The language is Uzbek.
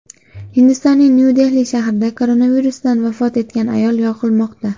Hindistonning Nyu-Dehli shahrida koronavirusdan vafot etgan ayol yoqilmoqda.